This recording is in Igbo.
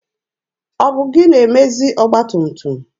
Ọ bụ gị na-emezi ọgba tum tum?